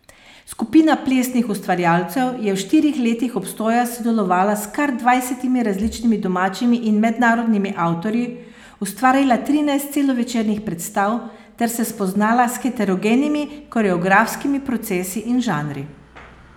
Skupina plesnih ustvarjalcev je v štirih letih obstoja sodelovala s kar dvajsetimi različnimi domačimi in mednarodnimi avtorji, ustvarila trinajst celovečernih predstav ter se spoznala s heterogenimi koreografskimi procesi in žanri.